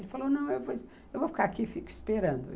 Ele falou, não, eu vou ficar aqui e fico esperando.